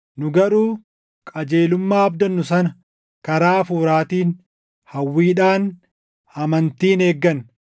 Nu garuu qajeelummaa abdannu sana karaa Hafuuraatiin hawwiidhaan amantiin eegganna.